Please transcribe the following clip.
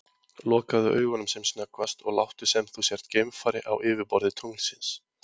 Lokaðu augunum sem snöggvast og láttu sem þú sért geimfari á yfirborði tunglsins.